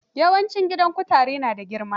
Leprosy homes are mostly big.